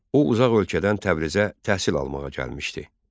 O uzaq ölkədən Təbrizə təhsil almağa gəlmişdi.